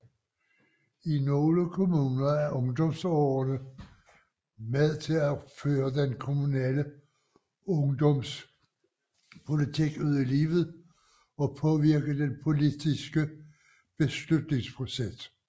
I nogle kommuner er ungdomsrådene med til at føre den kommunale ungdomspolitik ud i livet og påvirke den politiske beslutningsproces